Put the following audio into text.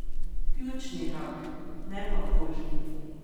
Pljučni rak, ne pa kožni.